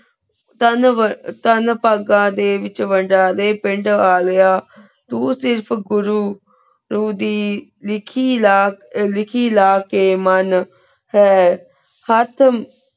ਟੀਏਨ ਤੇਂ ਪੀਘਾ ਦੇਯਨ ਵੇਚ ਦੀ ਪੇੰਡ ਅਘੇਯਾ ਤੂੰ ਸੀ ਸੁਖ੍ਰੁ ਤੂੜੀ ਵੇਖੀ ਰਘ ਲਿਖੀ ਲਾ ਕੀ ਮੇਨ ਹੈਂ ਹੇਠ